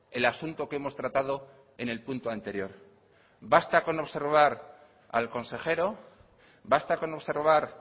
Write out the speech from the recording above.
el asunto que hemos tratado en el punto anterior basta con observar al consejero basta con observar